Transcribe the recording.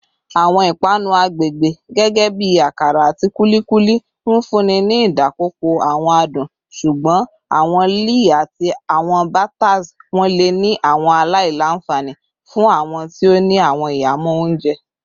Awọn ipanu agbegbe gẹgẹbi akara ati kulikuli nfunni ni idapọpọ awọn adun, ṣugbọn awọn lẹẹ ati awọn batters wọn le ni awọn alailanfani fun awọn ti o ni awọn ihamọ ounjẹ.